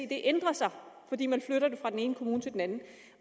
det ændrer sig fordi man flytter det fra den ene kommune til den anden